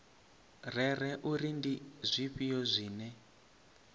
rere uri ndi zwifhio zwine